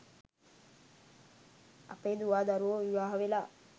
අපේ දුවා දරුවෝ විවාහ වෙලා